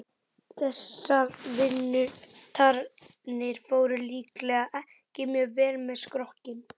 Þessar vinnutarnir fóru líklega ekki mjög vel með skrokkinn.